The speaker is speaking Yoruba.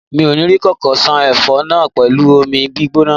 Mi ò ní kókó ṣan ẹfọ náà pẹ̀lú omi gbígbóná.